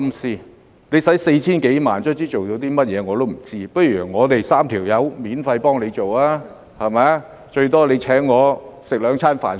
花了 4,000 多萬元，終於做了甚麼我都不知道，不如我們3人免費幫政府做，最多政府請我們吃兩頓飯......